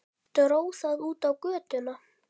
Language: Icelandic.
Dró það út á götuna.